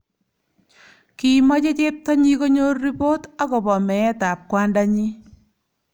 Kimache cheptonyi konyor ripot akobo meetab kwandanyi.